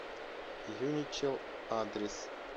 юничел адрес